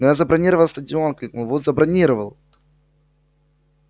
но я забронировал стадион крикнул вуд забронировал